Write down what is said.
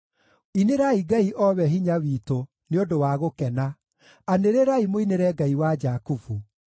Inĩrai Ngai, o we hinya witũ, nĩ ũndũ wa gũkena; anĩrĩrai mũinĩre Ngai wa Jakubu!